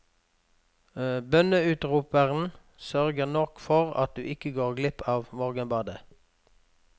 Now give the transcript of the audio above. Bønneutroperen sørger nok for at du ikke går glipp av morgenbadet.